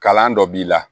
Kalan dɔ b'i la